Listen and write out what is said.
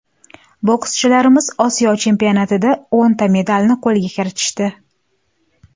Bokschilarimiz Osiyo chempionatida o‘nta medalni qo‘lga kiritishdi.